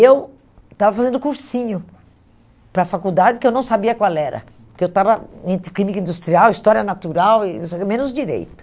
Eu estava fazendo cursinho para a faculdade, que eu não sabia qual era, porque eu estava entre clínica industrial, história natural, e não sei o quê, menos direito.